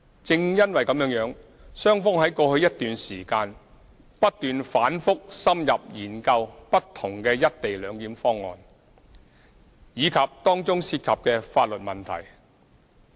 正因如此，雙方在過去一段時間，不斷反覆深入研究不同的"一地兩檢"方案，以及當中涉及的法律問題。